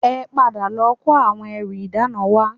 Ẹ padà lọ kó àwọn ẹrù ìdána wá